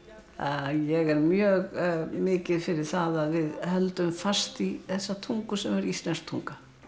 ég er mjög mikið fyrir það að við höldum fast í þessa tungu sem er íslensk tunga